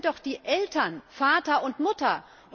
Das sind doch die Eltern, Vater und Mutter.